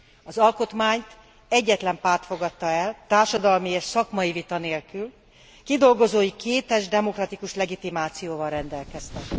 Az alkotmányt egyetlen párt fogadta el, társadalmi és szakmai vita nélkül, kidolgozói kétes demokratikus legitimációval rendelkeztek.